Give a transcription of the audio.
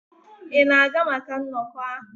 Ị na-aga maka nnọkọ ahụ?